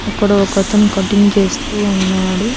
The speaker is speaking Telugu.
అక్కడోకతను కటింగ్ చేస్తూ ఉన్నాడు.